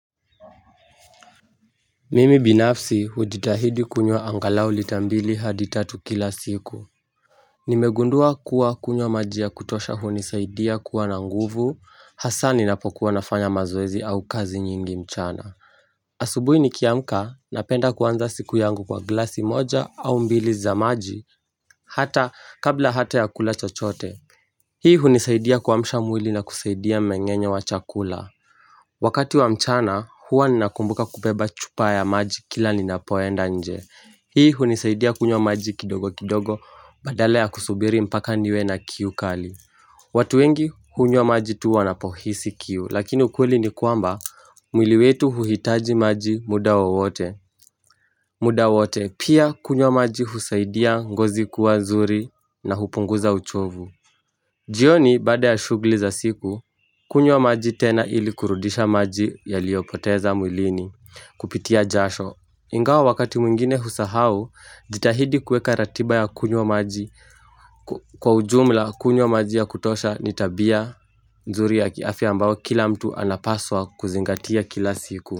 Mimi binafsi hujitahidi kunywa angalao lita mbili hadi tatu kila siku Nimegundua kuwa kunywa maji ya kutosha hunisaidia kuwa na nguvu hasa ninapokuwa nafanya mazoezi au kazi nyingi mchana asubuhi nikiamka napenda kuanza siku yangu kwa glasi moja au mbili za maji hata kabla hata ya kula chochote Hii hunisaidia kuamshamwili na kusaidia mmengenyo wa chakula Wakati wa mchana huwa ninakumbuka kubeba chupa ya maji kila ninapoenda nje Hii hunisaidia kunywa maji kindogo kindogo badala ya kusubiri mpaka niwe na kiu kali watu wengi hunywa maji tu wanapohisi kiu Lakini ukweli ni kwamba mwili wetu huhitaji maji muda wowote muda wowote pia kunywa maji husaidia ngozi kuwa nzuri na hupunguza uchovu jioni baada ya shughuli za siku kunywa maji tena ili kurudisha maji yaliopoteza mwilini kupitia jasho Ingawa wakati mwingine husahau jitahidi kuweka ratiba ya kunywa maji kwa ujumla kunywa maji ya kutosha ni tabia nzuri ya kiafya ambayo kila mtu anapaswa kuzingatia kila siku.